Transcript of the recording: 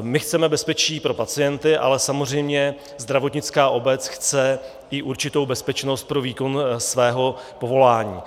my chceme bezpečí pro pacienty, ale samozřejmě zdravotnická obec chce i určitou bezpečnost pro výkon svého povolání.